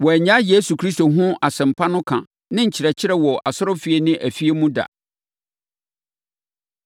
Wɔannyae Yesu Kristo ho asɛm pa no ka ne nkyerɛkyerɛ wɔ asɔrefie ne afie mu da.